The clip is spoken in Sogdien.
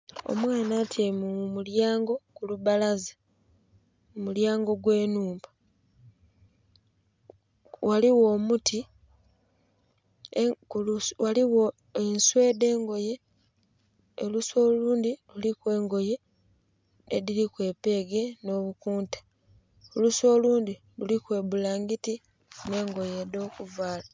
Omwaana atyaime mu mulyango ku lubbalaza ku mulyango gwe nhumba, ghaligho omuti, ghaligho ensuu edhe ngoye. Olusuu olundhi luliku engoye edhilima epeege nho bukunta, olusuu olundhi luliku ebbulangiti nhe engoye dho kuvaala.